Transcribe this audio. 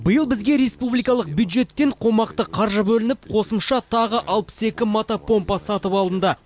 биыл бізге республикалық бюджеттен қомақты қаржы бөлініп қосымша тағы алпыс екі мотопомпа сатып алынды